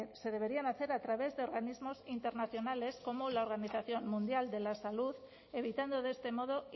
se deberían hacer a través de organismos internacionales como la organización mundial de la salud evitando de este modo